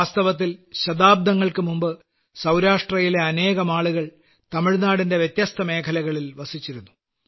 വാസ്തവത്തിൽ ശതാബ്ദങ്ങൾക്കു മുമ്പ് സൌരാഷ്ട്രയിലെ അനേകമാളുകൾ തമിഴ്നാടിന്റെ വ്യത്യസ്തമേഖലകളിൽ വസിച്ചിരുന്നു